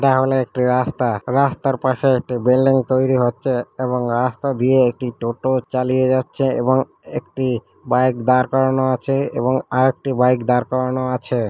এটা হল একটি রাস্তা। রাস্তার পাশে একটি বিল্ডিং তৈরি হচ্ছে এবং রাস্তা দিয়ে একটি টোটা চালিয়ে যাচ্ছে এবং একটি বাইক দাড় করানো আছে এবং আর একটি বাইক দাড় করানো আছে.